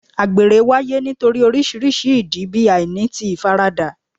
Àgbèrè wáyé nítorí oríṣiríṣi ìdí bí àìní ti ìfaradà